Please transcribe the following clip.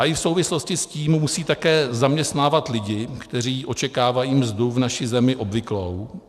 A i v souvislosti s tím musí také zaměstnávat lidi, kteří očekávají mzdu v naší zemi obvyklou.